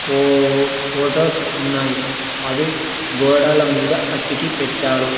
ఫో-- ఫోటోస్ ఉన్నాయి అవి గోడల మీద అతికి పెట్టారు.